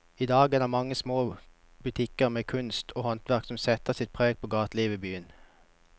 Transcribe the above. I dag er det de mange små butikkene med kunst og håndverk som setter sitt preg på gatelivet i byen.